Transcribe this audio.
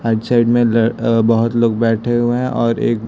आ side में ल बहोत लोग बैठे हुए हैं और एक--